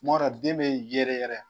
Kumadɔ den bɛ yɛrɛ yɛrɛ.